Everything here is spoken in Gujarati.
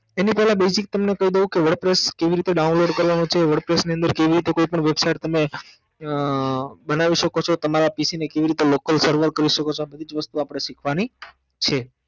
એની પેલ basic ને કઈ દઉ wordpress કેવી રીતે download કરવાનું છે wordpress ની અંદર કેવી રીતે કોઈ પણ website તમે અમ બનાવી સકો છો તમારા પીસી ને કેવી રીતે લોકલ સર્વર કરી સકો છો આ બધીજ વસ્તુ આપણે શીખવાની છે